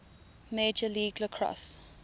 major league lacrosse